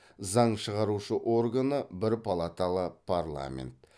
заң шығарушы органы бір палаталы парламент